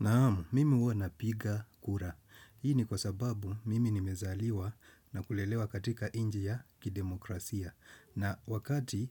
Naamu, mimi uwa napiga kura. Hii ni kwa sababu mimi nimezaliwa na kulelewa katika inji ya kidemokrasia. Na wakati